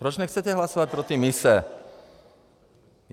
Proč nechcete hlasovat pro ty mise?